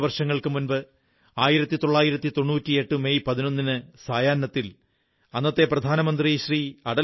ഇരുപതു വർഷങ്ങൾക്കു മുമ്പ് 1998 മെയ് 11 ന് സായാഹ്നത്തിൽ അന്നത്തെ പ്രധാനമന്ത്രി ശ്രീ